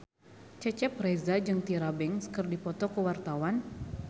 Cecep Reza jeung Tyra Banks keur dipoto ku wartawan